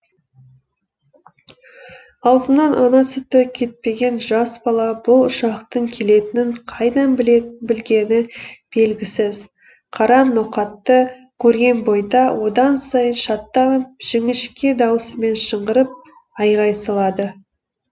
аузынан ана сүті кетпеген жас бала бұл ұшақтың келетінін қайдан білгені белгісіз қара ноқатты көрген бойда одан сайын шаттанып жіңішке дауысымен шыңғырып айғай салады